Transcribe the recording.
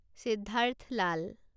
Siddharth Lal